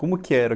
Como que era?